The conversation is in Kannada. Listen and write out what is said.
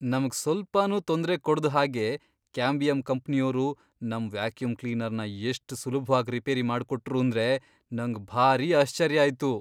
ನಮ್ಗ್ ಸ್ವಲ್ಪನೂ ತೊಂದ್ರೆ ಕೊಡ್ದ್ ಹಾಗೆ ಕ್ಯಾಂಬಿಯಮ್ ಕಂಪ್ನಿಯೋರು ನಮ್ ವ್ಯಾಕ್ಯೂಮ್ ಕ್ಲೀನರ್ನ ಎಷ್ಟ್ ಸುಲಭ್ವಾಗ್ ರಿಪೇರಿ ಮಾಡ್ಕೊಟ್ರೂಂದ್ರೆ ನಂಗ್ ಭಾರಿ ಆಶ್ಚರ್ಯ ಆಯ್ತು.